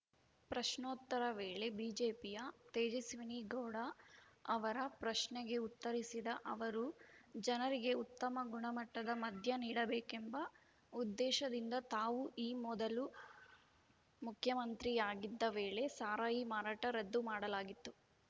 ಪ್ರಶ್ನೋತ್ತರ ವೇಳೆ ಬಿಜೆಪಿಯ ತೇಜಸ್ವಿನಿಗೌಡ ಅವರ ಪ್ರಶ್ನೆಗೆ ಉತ್ತರಿಸಿದ ಅವರು ಜನರಿಗೆ ಉತ್ತಮ ಗುಣಮಟ್ಟದ ಮಧ್ಯ ನೀಡಬೇಕೆಂಬ ಉದ್ದೇಶದಿಂದ ತಾವು ಈ ಮೊದಲು ಮುಖ್ಯಮಂತ್ರಿಯಾಗಿದ್ದ ವೇಳೆ ಸಾರಾಯಿ ಮಾರಾಟ ರದ್ದು ಮಾಡಲಾಗಿತ್ತು